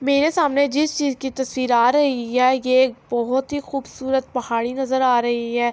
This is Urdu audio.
میرے سامنے جس چیز کی تشویر آ رہی ہے۔ یہ ایک بھوت ہی خوبصورت پہاڑی نظر آ رہی ہے۔